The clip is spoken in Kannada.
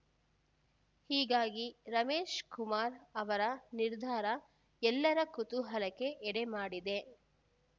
ಹೀಗಾಗಿ ರಮೇಶ್ ಕುಮಾರ್ ಅವರ ನಿರ್ಧಾರ ಎಲ್ಲರ ಕುತೂಹಲಕ್ಕೆ ಎಡೆಮಾಡಿದೆ